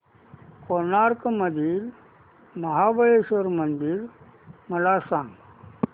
गोकर्ण मधील महाबलेश्वर मंदिर मला सांग